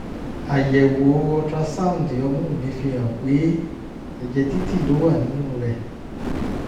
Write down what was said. àyẹ̀wò ultrasound ọmú mi fihàn pé ẹ̀jẹ̀ dídì ló wà nínú rẹ̀